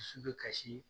Dusu bɛ kasi